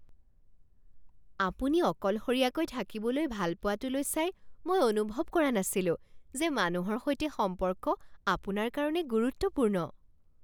আপুনি অকলশৰীয়াকৈ থাকিবলৈ ভাল পোৱাটোলৈ চাই মই অনুভৱ কৰা নাছিলোঁ যে মানুহৰ সৈতে সম্পৰ্ক আপোনাৰ কাৰণে গুৰুত্বপূৰ্ণ।